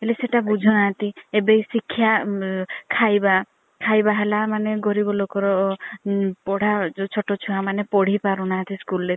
ହେଲେ ସେଇତା ବୁଝୁ ନାହାନ୍ତି ଏବେ ସିକ୍ଷା ଖାଇବା ଖାଇବା ହେଲା ମାନେ ଗରିବ ଲୋକ ରେ ପଢା ମାନେ ଯୋଉ ଛୋଟ ଚୁଆ ମାନେ ପଢି ପାରୁ ନାହାନ୍ତି school ରେ